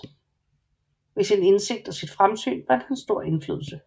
Ved sin indsigt og sit fremsyn vandt han stor indflydelse